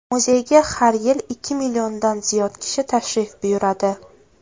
Muzeyga har yili ikki milliondan ziyod kishi tashrif buyuradi.